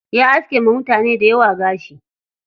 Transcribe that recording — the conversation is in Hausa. Ya aske wa mutane dayawa gashi.